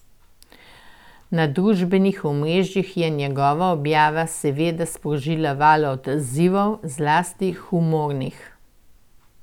Na družbenih omrežjih je njegova objava seveda sprožila val odzivov, zlasti humornih.